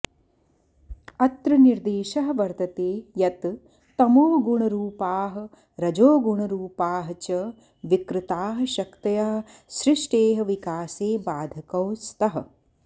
अत्र निर्देशः वर्तते यत् तमोगुणरूपाः रजोगुणरूपाः च विकृताः शक्तयः सृष्टेः विकासे बाधकौ स्तः